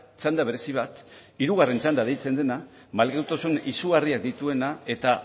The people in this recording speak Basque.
txanda berezi bat hirugarren txanda deitzen dena malgutasun izugarriak dituena eta